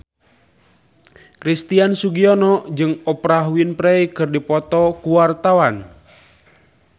Christian Sugiono jeung Oprah Winfrey keur dipoto ku wartawan